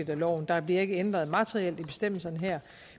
af loven der bliver ikke ændret materielt i bestemmelserne her